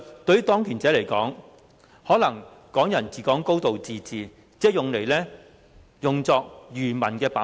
對當權者來說，"港人治港"、"高度自治"可能只是用作愚民的把戲。